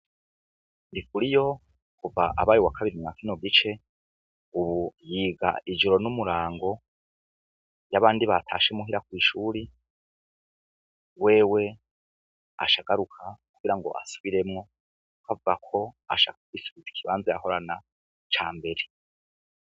NDIKURIYO kuva abaye uwakabiri mwa kino gice ubu yiga ijoro n'umurango iyo abandi batashe muhira kwishure wewe aca agaruka kugirango asubiremwo kuko avugako ashaka kwisubiza ikibanza yahorana cambere.